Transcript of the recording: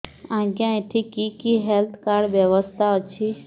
ଆଜ୍ଞା ଏଠି କି କି ହେଲ୍ଥ କାର୍ଡ ବ୍ୟବସ୍ଥା ଅଛି